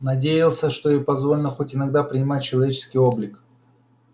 надеялся что ей позволено хоть иногда принимать человеческий облик